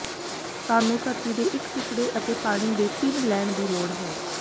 ਸਾਨੂੰ ਧਰਤੀ ਦੇ ਇੱਕ ਟੁਕੜੇ ਅਤੇ ਪਾਣੀ ਦੇ ਤਿੰਨ ਲੈਣ ਦੀ ਲੋੜ ਹੈ